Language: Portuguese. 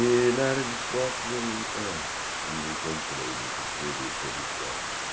E na área de esportes eu nunca nunca entrei, nunca escrevi sobre esportes.